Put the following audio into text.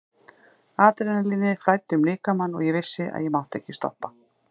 Adrenalínið flæddi um líkamann og ég vissi að ég mátti ekki stoppa.